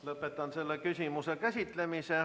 Lõpetan selle küsimuse käsitlemise.